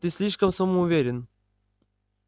ты слишком самоуверен